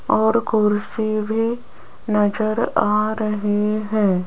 और कुर्सी भी नजर आ रही हैं।